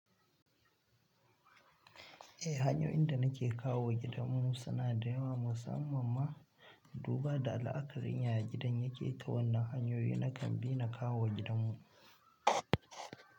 Eh, hanyoyin inda nake kawo gidanmu suna da yawa musamman ma duba da la'akarin yaya gidan yake ta wannan hanyoyin nakan bi na kawo gidanmu.